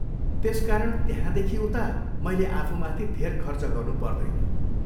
त्यसकारण, त्यहाँदेखि उता मैले आफूमाथि धेर खर्च गर्नु पर्दैन।